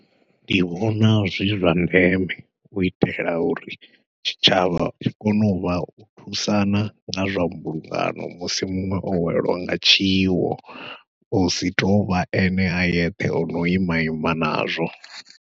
Ndi vhona zwi zwa ndeme u itela uri tshitshavha tshi kone uvha u thusana nga zwa mbulungano musi muṅwe o welwa nga tshiwo, husi tovha ene a yeṱhe ono ima ima nazwo.